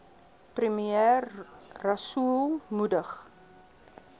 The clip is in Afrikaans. premier rasool moedig